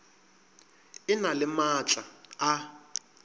e na le maatla a